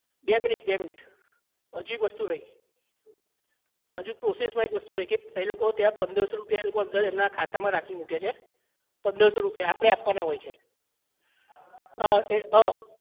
બે મિનિટ બે મિનિટ હજી એક વસ્તુ રહી અજુ process માં એક વસ્તુ રહી ગયી એ લોકો ત્યાં પંદર સો રૂપિયા એ લોકો એમના અંદર ખાતા માં રાખી મૂકે છે પંદર સો રૂપિયા આપડે આપવાના હોય છે અ એ